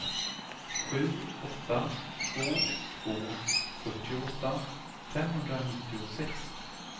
sju åtta två två fyrtioåtta femhundranittiosex